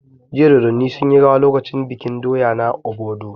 Jiya Dodanni sun yi rawa lokacin bikin doya na Obodu